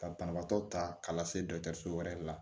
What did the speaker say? Ka banabaatɔ ta ka lase dɔgɔtɔrɔso wɛrɛ la